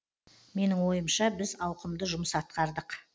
менің ойымша біз ауқымды жұмыс атқардық